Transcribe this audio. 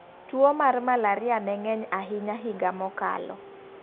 Tuo mar malaria ne ng'eny ahinya higa mokalo.